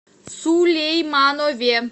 сулейманове